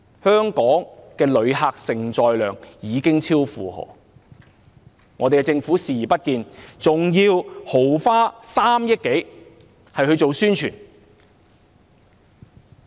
香港的旅客承載量已經超負荷，但政府卻視而不見，還要豪花3億多元來做宣傳。